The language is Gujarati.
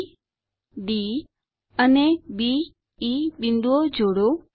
બી ડી અને બી ઇ બિંદુઓ જોડો